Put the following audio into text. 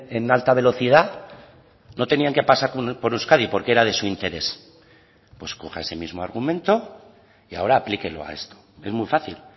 en alta velocidad no tenían que pasar por euskadi porque era de su interés pues coja ese mismo argumento y ahora aplíquelo a esto es muy fácil